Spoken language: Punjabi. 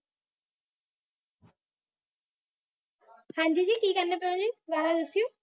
ਹਨਜੀ ਜੀ, ਕਿ ਕਹਾਣੀ ਪਾਈ ਹੋ ਜੀ ਦੁਬਾਰਾ ਦਸੋ